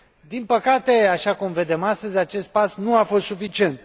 Din păcate, așa cum vedem astăzi, acest pas nu a fost suficient.